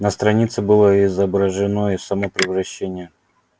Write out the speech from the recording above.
на странице было изображено и само превращение